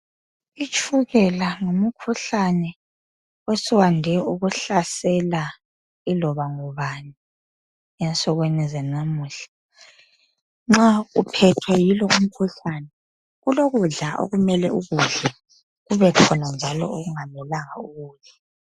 itshukela ngumkhuhlane osuwande ukuhlasela iloba ngubani ensukwini zalamuhla nxa uphethwe yilo umkhuhlane kulokudla okumele ukudle kubekhona njalo okungamelanga ukudle